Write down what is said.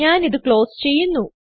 ഞാൻ ഇത് ക്ലോസ് ചെയ്യുന്നു